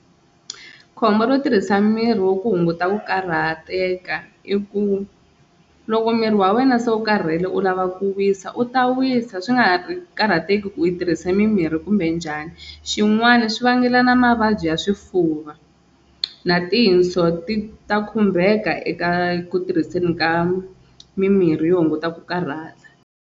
Khombo ro tirhisa miri wo ku hunguta ku karhateka i ku loko miri wa wena se u karhele u lava ku wisa u ta wisa swi nga ha ri karhateki ku i tirhise mimirhi kumbe njhani xin'wana swi vangela na mavabyi ya swifuva na tinso ti ta khumbeka eka ku tirhiseni ka mimirhi yo hunguta ku karhata.